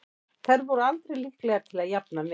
Þær voru aldrei líklegar til að jafna metin.